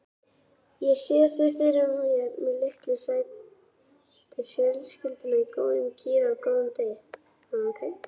Ég sé fyrir mér litlu sætu fjölskylduna í góðum gír á góðum degi.